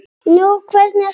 Nú, hvernig þá?